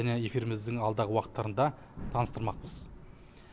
және эфиріміздің алдағы уақыттарында таныстырмақпыз